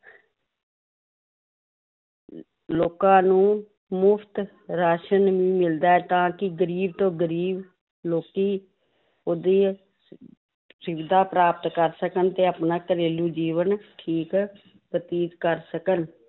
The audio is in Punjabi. ਲੋਕਾਂ ਨੂੰ ਮੁਫ਼ਤ ਰਾਸ਼ਣ ਵੀ ਮਿਲਦਾ ਹੈ ਤਾਂ ਕਿ ਗ਼ਰੀਬ ਤੋਂ ਗ਼ਰੀਬ ਲੋਕੀ ਉਹਦੀ ਸੁਵਿਧਾ ਪ੍ਰਾਪਤ ਕਰ ਸਕਣ ਤੇ ਆਪਣਾ ਘਰੇਲੂ ਜੀਵਨ ਠੀਕ ਬਤੀਤ ਕਰ ਸਕਣ l